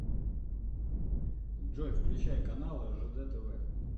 джой включай канал ржд тв